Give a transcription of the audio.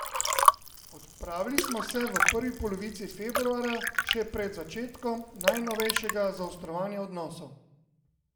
Odpravili smo se v prvi polovici februarja, še pred začetkom najnovejšega zaostrovanja odnosov.